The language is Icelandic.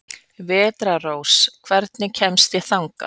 Vetrarrós, hvernig kemst ég þangað?